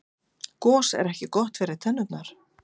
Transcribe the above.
gos er ekki gott fyrir tennurnar